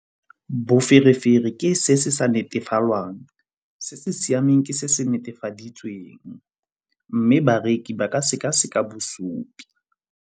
Boferefere ke se se sa netefalwang. Se se siameng ke se se netefaditsweng mme bareki ba ka seka-seka bosupi.